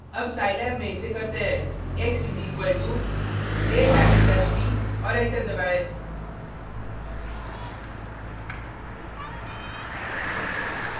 अब साईलैब में इसे करते हैं x is equal to a backslash b और एंटर दबाएँ